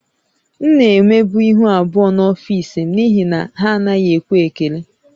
M na-emebu ihu abụọ n’ọfịs m n’ihi na ha anaghị enwe ekele